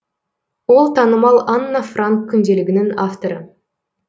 ол танымал анна франк күнделігінің авторы